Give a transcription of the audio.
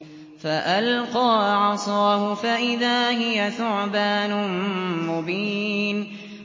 فَأَلْقَىٰ عَصَاهُ فَإِذَا هِيَ ثُعْبَانٌ مُّبِينٌ